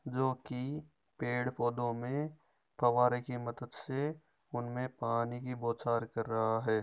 जोकि पेड़ पौधों में फव्वारे की मदद से उनमे पानी की बौछार कर रहा है।